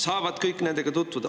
"Saavad kõik nendega tutvuda.